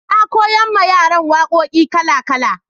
na koya ma yaran waƙoƙi kala kala